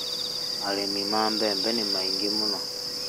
Arĩmi a mbembe nĩ aingĩ mũno